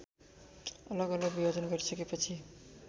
अलगअलग विभाजन गरिसकेपछि